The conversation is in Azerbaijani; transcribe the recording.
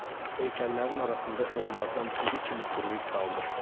Heykəllərin arasında onlardan biri kimi quruyub qalmışdım.